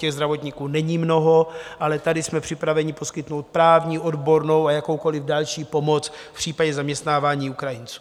Těch zdravotníků není mnoho, ale tady jsme připraveni poskytnout právní, odbornou a jakoukoliv další pomoc v případě zaměstnávání Ukrajinců.